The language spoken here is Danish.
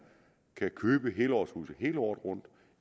kan købe helårshuse hele året rundt